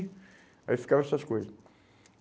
Aí ficavam essas coisas.